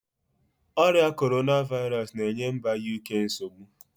Oria Korona vairosu na-enye mba Uk nsogbu